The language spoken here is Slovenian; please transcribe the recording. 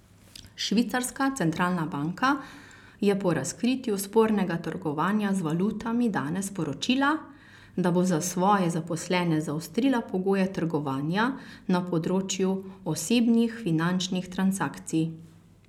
Švicarska centralna banka je po razkritju spornega trgovanja z valutami danes sporočila, da bo za svoje zaposlene zaostrila pogoje trgovanja na področju osebnih finančnih transakcij.